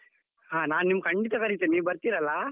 ಹಾ ನಾನು ನಿಮ್ಮನ್ನು ಖಂಡಿತಾ ಕರಿಯುತ್ತೇನೆ, ನೀವು ಬರ್ತೀರ್ ಅಲಾ?